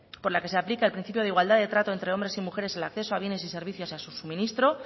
por la que se aplica el principio de igualdad de trato entre hombres y mujeres el acceso a bienes y servicios a su suministro